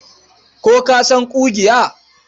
Ko ka san ƙugiya?